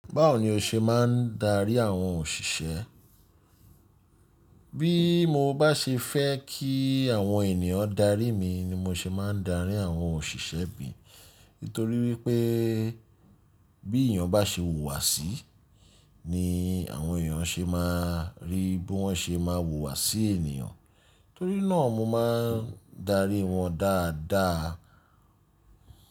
Báwo ni o ṣe máa ń darí àwọn òṣìṣẹ́? Bí mo bá ṣe fẹ́ kí àwọn ènìyàn darí mi ni mo ṣe máa ń darí àwọn òṣìṣẹ́ mi. Nítorí wípé bí èèyàn bá ṣe wùwà sí ni àwọn èèyàn ṣe máa rí bí wọ́n ṣe máa wùwà sí ènìyàn. Torí náà mo máa ń darí wọn dáadáa.